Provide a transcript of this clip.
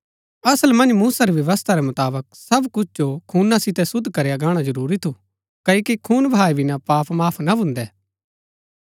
असल मन्ज मूसा री व्यवस्था रै मुताबक सब कुछ जो खूना सितै शुद्व करया गाणा जरूरी थू क्ओकि खून बहाऐ बिना पाप माफ ना भून्दै